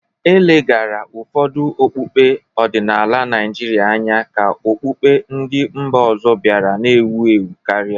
E leghaara ụfọdụ okpukpe ọdịnala Naijiria anya ka okpukpe ndị mba ọzọ bịara na-ewu ewu karịa.